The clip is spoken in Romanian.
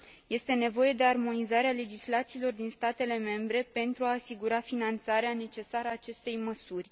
Este nevoie de armonizarea legislațiilor din statele membre pentru a asigura finanțarea necesară acestei măsuri.